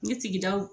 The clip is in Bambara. N ye sigidaw